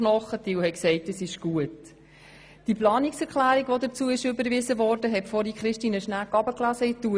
Viele haben gesagt, es gebe zu wenig Fleisch am Knochen, und viele haben gesagt, es sei gut.